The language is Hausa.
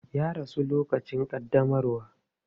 Ya rasu a lokacin ƙaddamarwa.